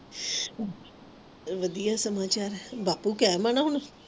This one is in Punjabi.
ਵਢੀ ਈ ਸਮੋਸਿਆਂ ਦਾ ਬਾਪੂ